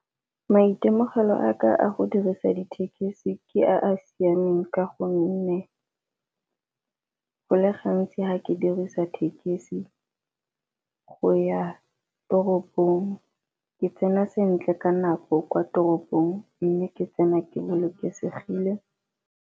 Maitemogelo a ka a go dirisa dithekisi ke a a siameng ka gonne, go le gantsi ga ke dirisa tekesi go ya toropong ke tsena sentle ka nako kwa toropong, mme ke tsena ke bolokesegile.